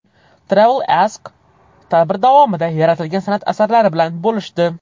TravelAsk tadbir davomida yaratilgan san’at asarlari bilan bo‘lishdi.